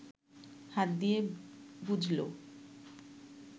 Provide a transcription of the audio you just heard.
হাত দিয়ে বুঝল